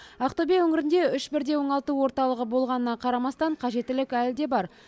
ақтөбе өңірінде үш бірдей оңалту орталығы болғанына қарамастан қажеттілік әлі де бар